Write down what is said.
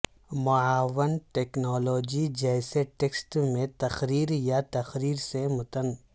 معاون ٹیکنالوجی جیسے ٹیکسٹ میں تقریر یا تقریر سے متن